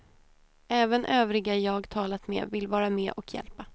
Även övriga jag talat med vill vara med och hjälpa.